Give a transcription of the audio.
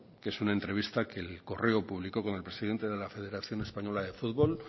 que es una entrevista que el correo publicó con el presidente de la federación española de futbol